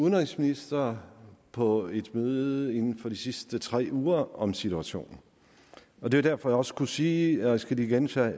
udenrigsministre på et møde inden for de sidste tre uger om situationen og det var derfor jeg også kunne sige og jeg skal lige gentage